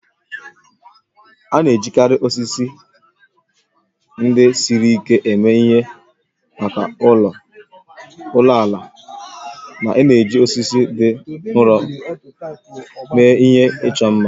A na-ejikarị osisi ndị siri ike eme ihe maka ụlọ ala ma na-eji osisi dị nro mee ihe ịchọ mma.